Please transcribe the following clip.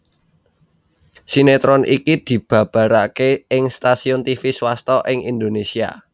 Sinetron iki dibabaraké ing stasiun tivi swasta ing Indonésia